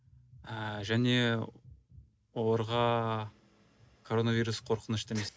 ыыы және оларға коровирус қорқынышты емес